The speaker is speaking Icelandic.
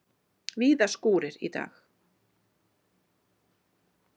Víða skúrir í dag